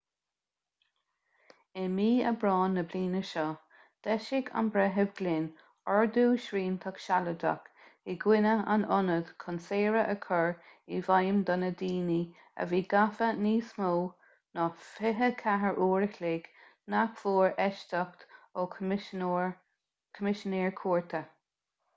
i mí aibreáin na bliana seo d'eisigh an breitheamh glynn ordú sriantach sealadach i gcoinne an ionaid chun saoradh a chur i bhfeidhm do na ndaoine a bhí gafa níos mó ná 24 uair an chloig nach bhfuair éisteacht ó choimisinéir cúirte